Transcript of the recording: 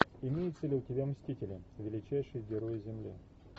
имеется ли у тебя мстители величайшие герои земли